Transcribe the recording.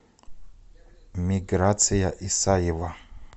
миграция исаева